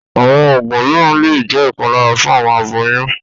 Àwọn oogun míràn le jẹ̀ ipàlàrà fun awọn àbòyún